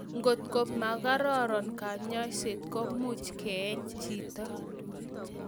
Kotko makororon kanyaiset ko much keeny chito